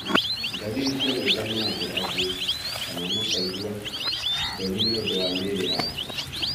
ndariri cia gwĩthema andũ arĩa angĩ, kana makaigua thoni nĩ ũndũ wa mĩĩrĩ yao.